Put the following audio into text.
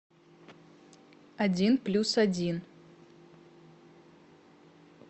один плюс один